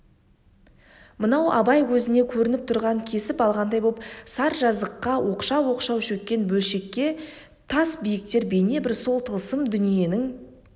мынау абай көзіне көрініп тұрған кесіп алғандай боп саржазыққа оқшау-оқшау шөккен бөлекше тас биіктер бейнебір сол тылсым дүниенің